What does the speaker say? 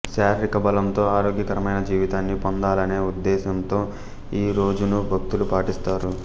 శారీరక బలంతో ఆరోగ్యకరమైన జీవితాన్ని పొందాలనే ఉద్దేశ్యంతో ఈ రోజును భక్తులు పాటిస్తారు